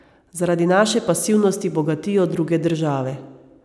Zaradi naše pasivnosti bogatijo druge države.